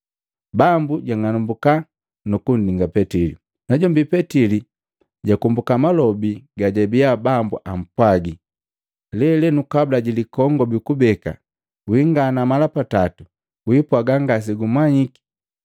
Bambu jang'anambuka nu kundingali Petili. Najombi Petili jakombuka malobi gajabia Bambu ampwagi, “Lelenu kabula ji likongobi kubeka, wingana mala patato wiipwaga ngasegumanyiki.”